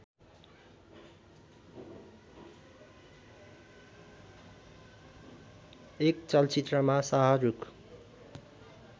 एक चलचित्रमा शाहरूख